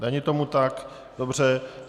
Není tomu tak, dobře.